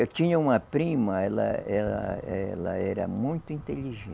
Eu tinha uma prima, ela, ela, ela era muito inteligente.